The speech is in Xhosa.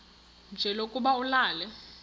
nje lokuba ulale